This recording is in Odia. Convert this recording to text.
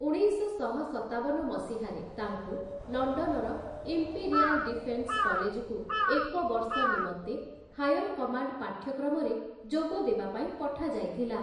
ଉଣେଇଶଶହ ସତାବନ ମସିହା ରେ, ତାଙ୍କୁ ଲଣ୍ଡନର ଇମ୍ପେରିଆଲ୍ ଡିଫେନ୍ସ କଲେଜକୁ ଏକ ବର୍ଷ ନିମନ୍ତେ ହାୟର କମାଣ୍ଡ ପାଠ୍ୟକ୍ରମରେ ଯୋଗଦେବା ପାଇଁ ପଠାଯାଇଥିଲା ।